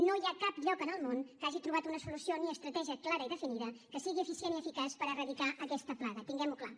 no hi ha cap lloc en el món que hagi trobat una solució ni estratègia clara i definida que sigui eficient i eficaç per erradicar aquesta plaga tinguem ho clar